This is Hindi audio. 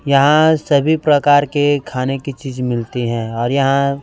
यहा सभी प्रकार के खाने की चीज मिलती हैं और यहां--